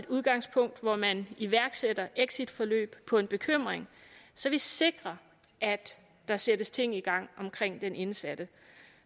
udgangspunkt hvor man iværksætter exitforløb på en bekymring så vi sikrer at der sættes ting i gang omkring den indsatte